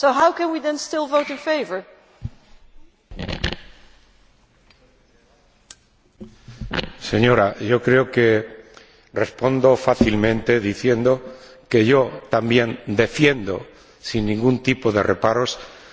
Señora, yo creo que respondo fácilmente diciendo que yo también defiendo, sin ningún tipo de reparos, a los homosexuales, a las lesbianas y a cualquier persona, con independencia de su condición u orientación.